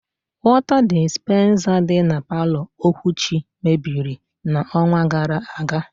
Wọta dispensa dị na palọ Okwuchi mebiri n' ọnwa gara aga.